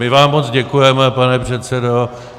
My vám moc děkujeme, pane předsedo.